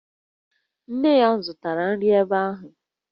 Nne ya zụtara nri ebe ahụ